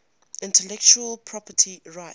intellectual property rights